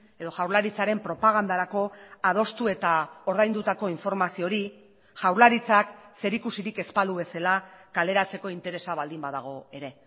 edo jaurlaritzaren propagandarako adostu eta ordaindutako informazio hori jaurlaritzak zerikusirik ez balu bezala kaleratzeko interesa baldin badago ere